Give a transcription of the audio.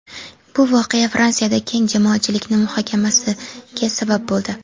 Bu voqea Fransiyada keng jamoatchilikning muhokamasiga sabab bo‘ldi.